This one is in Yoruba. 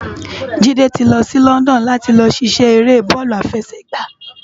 Jide ti lò si London làti lò sisè éré bòlú àfèsègbá